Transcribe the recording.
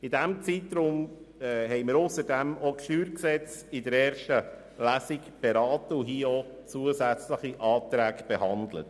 In diesem Zeitraum haben wir ausserdem auch das StG in der ersten Lesung beraten und ebenfalls zusätzliche Anträge behandelt.